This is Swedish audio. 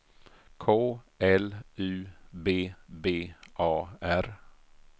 K L U B B A R